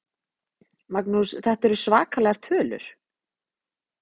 Magnús: Þetta eru svakalegar tölur?